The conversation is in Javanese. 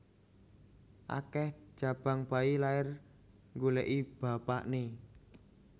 Akeh jabang bayi lahir nggoleki bapakne